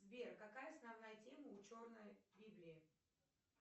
сбер какая основная тема у черной библии